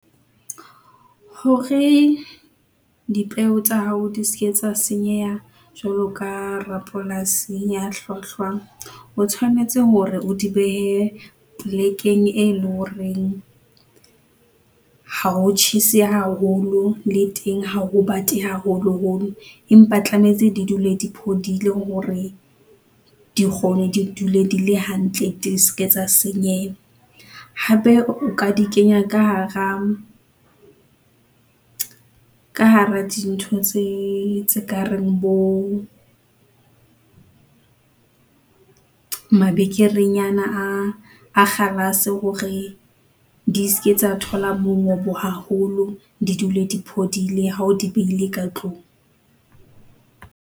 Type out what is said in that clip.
Hore dipeo tsa hao di ske tsa senyeha, jwalo ka rapolasing ya hlwahlwa, o tshwanetse hore o di behe plekeng, e leng horeng ha ho tjhese haholo. Le teng ha ho bate haholoholo. Empa tlametse di dule di phodile hore di kgone di dule, di le hantle, di ske tsa senyeha. Hape o ka di kenya ka hara, ka hara dintho tse, tse kareng bo mabekerenyana a, a kgalase hore di ske tsa thola mongobo haholo, di dule di phodile hao di behile ka tlung.